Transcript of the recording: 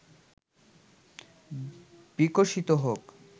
বিকশিত হোক